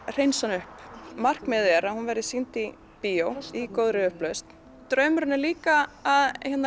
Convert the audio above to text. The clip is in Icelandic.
hreinsa hana upp markmiðið er að hún verði sýnd í bíó í góðri upplausn en draumurinn er líka að